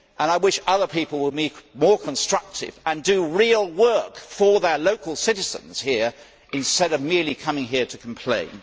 I wish other people would be more constructive and do real work for their local citizens, instead of merely coming here to complain.